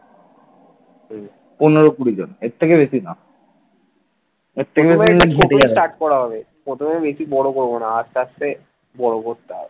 প্রথমে বেশি বড় করবো না আস্তে আস্তে বড় করতে হবে